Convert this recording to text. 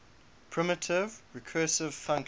primitive recursive functions